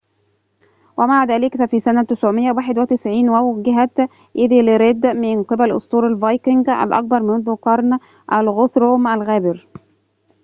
ومع ذلك ففي سنة 991 وُوجهت إيذلريد من قبل أسطول الفايكينغ الأكبر منذ قرن الغوثروم الغابر